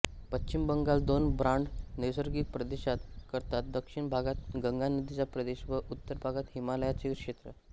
पश्चिम बंगाल दोन ब्रॉड नैसर्गिक प्रदेशात करतात दक्षिणभागात गंगा नदीचा प्रदेश व उत्तरभागात हिमालयाचे क्षेत्र